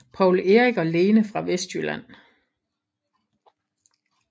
Poul Erik og Lene fra Vestjylland